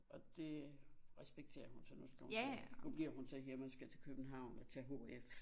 Og det respekterede hun så nu skal hun til nu bliver hun så hjemme og skal til København og tage hf